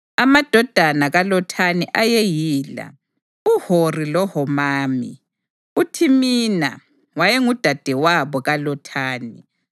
Amadodana kaLothani ayeyila: uHori loHomami. UThimina wayengudadewabo kaLothani.